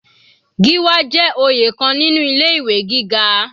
Gíwá jẹ́ oyè kan nínú ilé ìwé gíga.